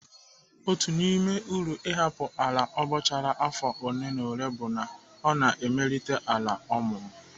Otu n'ime uru ịhapụ ala abọchara afọ ole na ole bụ na ọ na-emelite ala ọmụmụ.